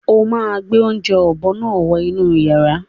Ó máa gbé oúnjẹ ọ̀bọ náà wọ inú yàrá.